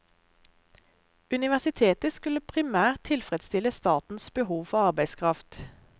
Universitetet skulle primært tilfredsstille statens behov for arbeidskraft.